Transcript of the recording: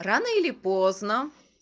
рано или поздно